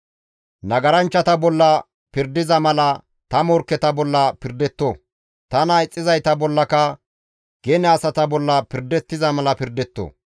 «Nagaranchchata bolla pirdettiza mala ta morkketa bolla pirdetto; tana ixxizayta bollaka gene asata bolla pirdettiza mala pirdetto.